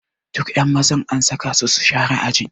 Duka ƴan mazan an saka su share ajin.